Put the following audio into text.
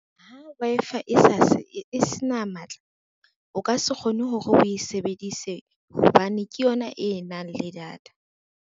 Ha Wi-Fi e se na matla, o ka se kgone hore o e sebedise hobane ke yona e nang le data.